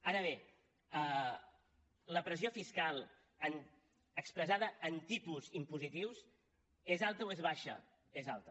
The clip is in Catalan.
ara bé la pressió fiscal expressada en tipus impositius és alta o és baixa és alta